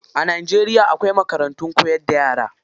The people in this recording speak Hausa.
A Najeriya akwai makarantun koyar da yara.